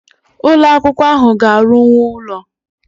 Ụlo akwụkwọ ahụ ga-arụkwu ụlọ